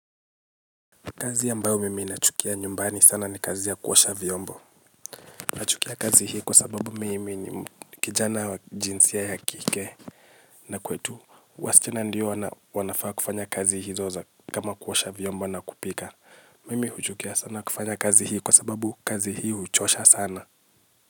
Kazi ambao mimi nachukia nyumbani sana ni kazi ya kuosha vyombo. Nachukia kazi hii kwa sababu mimi ni kijana wa jinsia ya kike. Na kwetu waschana ndio wanafaa kufanya kazi hizo za kama kuosha vyombo na kupika. Mimi huchukia sana kufanya kazi hii kwa sababu kazi hii uchosha sana.